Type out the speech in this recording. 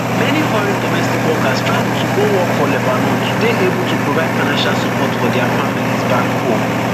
many foreign domestic workers travel to go work for lebanon to dey able to provide financial support for dia families back home